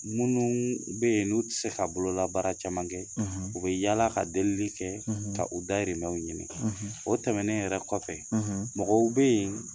Minnu bɛ yen n'u tɛ se ka bololabaara caman kɛ u bɛ yaala ka delili kɛ ka u dahirimɛw ɲini, o tɛmɛnen yɛrɛ kɔfɛ, mɔgɔw bɛ yen